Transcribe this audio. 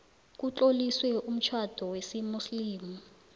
kutloliswe umtjhado wesimuslimu